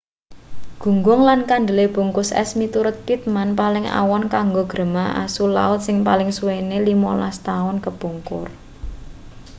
gunggung lan kandele bungkus es miturut pittman paling awon kanggo grema asu laut sing paling suwene 15 taun kepungkur